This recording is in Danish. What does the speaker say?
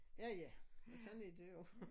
Ja ja men sådan er det jo